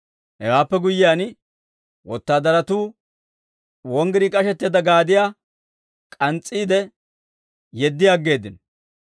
Hewaappe guyyiyaan, wotaadaratuu wonggirii k'ashetteedda gaadiyaa k'ans's'iide, yeddi aggeeddino.